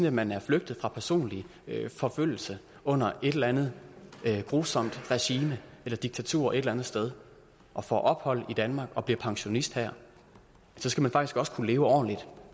at man er flygtet fra personlig forfølgelse under et eller andet grusomt regime eller diktatur et eller andet sted og får ophold i danmark og bliver pensionist her så skal man faktisk også kunne leve ordentligt